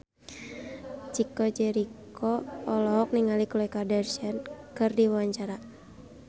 Chico Jericho olohok ningali Khloe Kardashian keur diwawancara